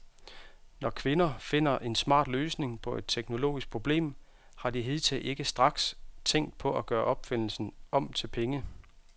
Når kvinder finder en smart løsning på et teknologisk problem, har de hidtil ikke straks tænkt på at gøre opfindelsen om til penge.